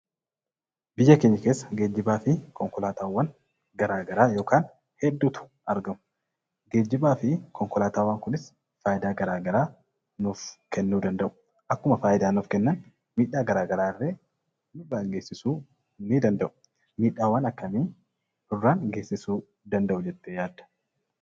Biyya keenya keessa geejjibaa fi konkolaataawwan garaa garaa yokaan hedduutu argamu. Geejjibaa fi konkolaataawwan kunis faayidaa garaa garaa nuuf kennuu danda'u. Akkuma faayidaa nuuf kennan miidhaa garaa garaallee nurraan geessisuu ni danda'u. Miidhaawwan akkamii nurraan geessisuu danda'u jettee yaadda?